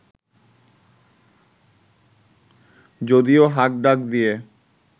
যদিও হাক ডাক দিয়ে